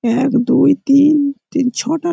এক দুই তিন তিন ছটা --